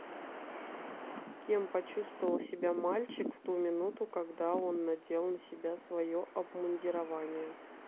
кем почувствовал себя мальчик в ту минуту когда он надел на себя свое обмундирование